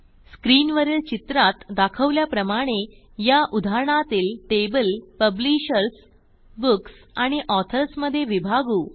screen वरील चित्रात दाखवल्याप्रमाणे या उदाहरणातील टेबल पब्लिशर्स बुक्स आणि ऑथर्स मधे विभागू